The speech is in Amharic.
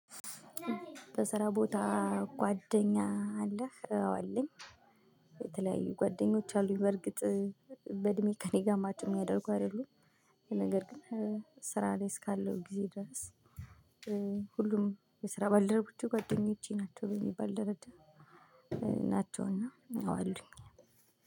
በስራ ቦታ ጓደኛ አለህ? አዎ አለኝ የተለያዩ ጓደኞች አሉኝ በእርግጥ በእድሜ ከእኔ ጋር ማች ሚያደርጉ አይደሉም ነገር ግን ስራ ላይ እስካለው ጊዜ ድረስ ሁሉም የስራ ባልደረቦቼ ጓደኞቼ ናቸው በሚባል ደረጃ ናቸው እአ ይሄው አሉኝ።